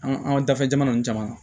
An an ka dafɛ jamana nunnu caman na